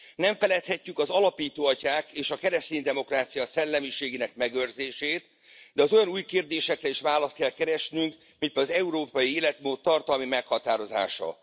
Nem feledhetjük az alapító atyák és a kereszténydemokrácia szellemiségének megőrzését, de az olyan új kérdésekre is választ kell keresnünk, mint az európai életmód tartalmi meghatározása.